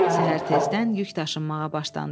Səhər tezdən yük daşınmağa başlandı.